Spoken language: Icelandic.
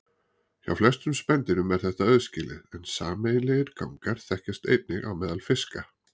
Hjá flestum spendýrum er þetta aðskilið en sameiginlegir gangar þekkjast einnig á meðal fiska.